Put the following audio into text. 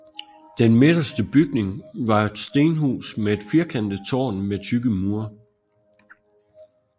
Den midterste bygning var et stenhus med et firkantet tårn med tykke mure